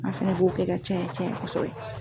An fana b'o kɛ ka caya caya kosɛbɛ .